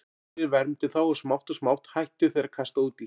Sólin vermdi þá og smátt og smátt hættu þeir að kasta út í.